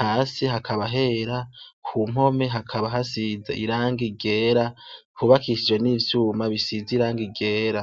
Hasi hakaba hera ku mpome hakaba hasize irangi ryera tubakishije n'ivyuma bisize irangi ryera.